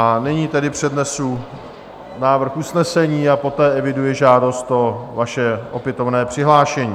A nyní tedy přednesu návrh usnesení a poté eviduji žádost o vaše opětovné přihlášení.